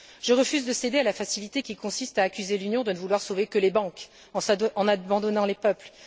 Je refuse de céder à la facilité qui consiste à accuser l'Union de ne vouloir sauver que les banques en abandonnant les peuples.